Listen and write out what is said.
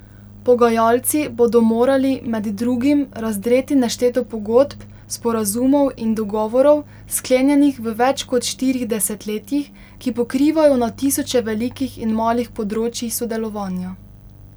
Pogajalci bodo morali, med drugim, razdreti nešteto pogodb, sporazumov in dogovorov, sklenjenih v več kot štirih desetletjih, ki pokrivajo na tisoče velikih in malih področij sodelovanja.